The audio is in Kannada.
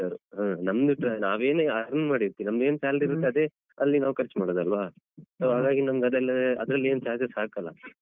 ಹ ನಮ್ದು ನಾವೇನೆ earn ಮಾಡಿರ್ತೇವೆ ನಮ್ಗೆನ್‌ salary ಇರುತ್ತೆ ಅದೇ ಅಲ್ಲಿ ನಾವು ಖರ್ಚ್ ಮಾಡುದಲ್ವಾ so ಹಾಗಾಗಿ ನಮ್ಗ್ ಅದೆಲ್ಲಾ ಅದ್ರಲ್ಲಿ ಏನ್ charges ಹಾಕಲ್ಲ.